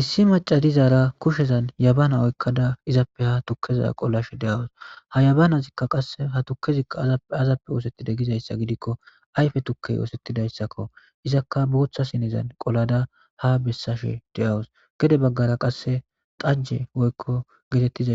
Issi macay dizara kushezan yabana oykada tuleza qolashe de'aws ha yabanazika qase ha tukezika azappe azappe oosetide gizaysa gidiko ayfe tukey oosetidaysako izaka bootha sinen qolada haa besashe daws gede bagara qase cake woylo getetiza